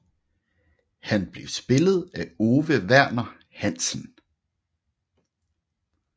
Han blev spillet af Ove Verner Hansen